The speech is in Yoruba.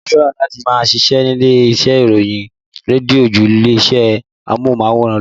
Mo fẹ́ràn láti máa ṣíṣe nílé iṣẹ́ rédíó ju ilé-iṣẹ́ amóhùnmáwòrán lọ